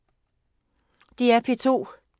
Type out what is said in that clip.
DR P2